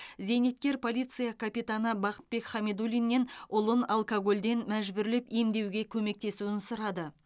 зейнеткер полиция капитаны бақытбек хамидуллиннен ұлын алкогольден мәжбүрлеп емдеуге көмектесуін сұрады